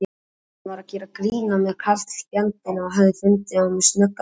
Hann var að gera grín að mér karlfjandinn, hann hafði fundið á mér snöggan blett.